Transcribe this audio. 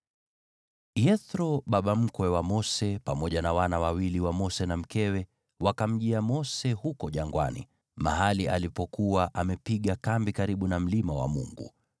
Yethro, baba mkwe wa Mose, pamoja na wana wawili wa Mose na mkewe, wakamjia Mose huko jangwani, mahali alipokuwa amepiga kambi karibu na mlima wa Mungu.